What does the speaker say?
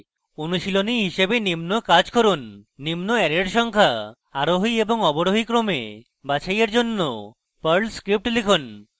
অনুশীলনী হিসেবে নিম্ন কাজ করুন নিম্ন অ্যারের সংখ্যা আরোহী এবং অবরোহী ক্রমে বাছাইয়ের জন্য perl script লিখুন